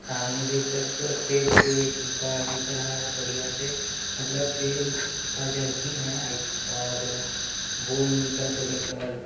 सामने देख सकते हो तेल के डिब्बा दिख रहा है बढियाँ से मतलब तेल का जर्किन है आई और बोर्नविटा से लेकर--